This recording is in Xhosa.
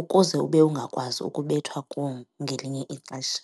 ukuze ube ungakwazi ukubethwa kuwo ngelinye ixesha.